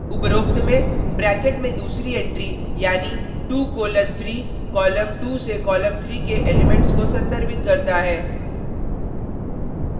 उपरोक्त में ब्रैकेट में दूसरी एंट्री यानी 2 कोलन 3 कॉलम 2 से कॉलम 3 के एलीमेंट्स को संदर्भित करता है